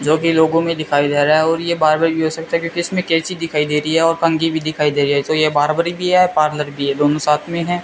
जो कि लोगो में दिखाया जा रहा है और यह बार्बर भी हो सकता है क्योंकि इसमें कैंची दिखाई दे रही है और कंगी भी दिखाई दे रही है तो ये बार्बर भी है पार्लर भी है दोनों साथ में हैं।